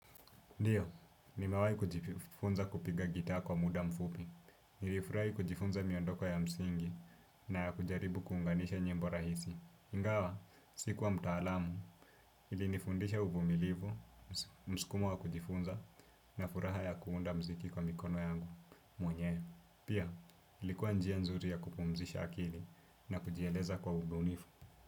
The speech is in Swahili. Ndiyo, nimawai kujifunza kupiga gita kwa muda mfupi. Nilifurai kujifunza miondoko ya msingi na ya kujaribu kuunganisha nyimbo rahisi. Ingawa, siku wa mtaalamu, ili nifundisha uvumilivu, mskumo wa kujifunza, na furaha ya kuunda mziki kwa mikono yangu, mwenye. Pia, ilikuwa njia nzuri ya kupumzisha akili na kujieleza kwa uvunifu.